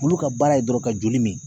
Olu ka baara ye dɔrɔn ka joli min